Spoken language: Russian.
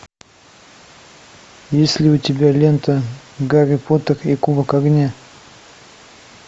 есть ли у тебя лента гарри поттер и кубок огня